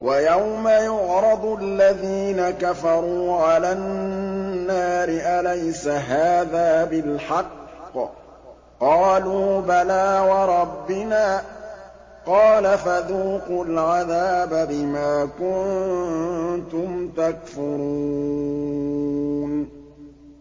وَيَوْمَ يُعْرَضُ الَّذِينَ كَفَرُوا عَلَى النَّارِ أَلَيْسَ هَٰذَا بِالْحَقِّ ۖ قَالُوا بَلَىٰ وَرَبِّنَا ۚ قَالَ فَذُوقُوا الْعَذَابَ بِمَا كُنتُمْ تَكْفُرُونَ